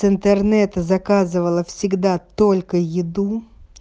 с интернета заказывала всегда только еду